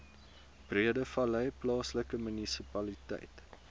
breedevallei plaaslike munisipaliteit